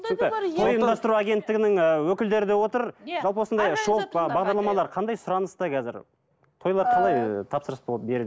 ұйымдастыру агенттігінің і өкілдері де отыр жалпы осындай шоу бағдарламалар қандай сұраныста қазір тойлар қалай тапсырыс